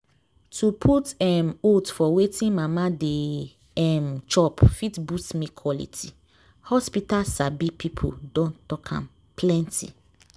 to put um oats for wetin mama de um chop fit boost milk quality. hospital sabi people don talk am plenty.